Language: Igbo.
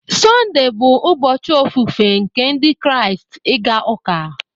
Sunday bụ ụbọchị ofufe nke Ndị Kraịst, ịga ụka.